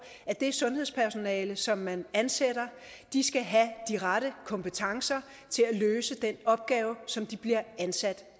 at det sundhedspersonale som man ansætter skal have de rette kompetencer til at løse den opgave som de bliver ansat